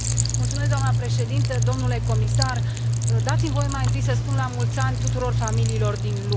Doamnă președintă, domnule comisar, dați mi voie mai întâi să spun la mulți ani tuturor familiilor din lume.